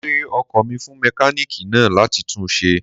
Mo gbé ọkò mi fún mékáníìkì náà láti tun ṣe